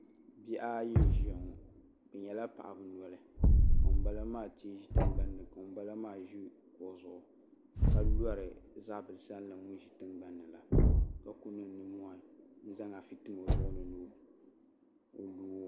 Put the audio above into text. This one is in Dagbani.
Bihi ayi n ʒiya ŋo bi nyɛla paɣaba noli ka ŋunbala maa tiɛ ʒi tingbanni ka ŋunbala maa ʒi o zuɣu ka lori zabiri sandi ŋun ʒi tingbanni la ka ku niŋ nimmohi n zaŋ afi tim o zuɣu ni ni o loo